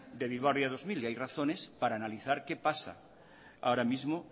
de bilbao ría dos mil y hay razones para analizar qué pasa ahora mismo